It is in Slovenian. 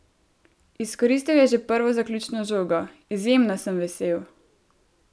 Izkoristil je že prvo zaključno žogo: "Izjemno sem vesel.